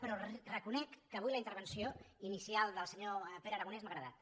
però reconec que avui la intervenció inicial del senyor pere aragonès m’ha agradat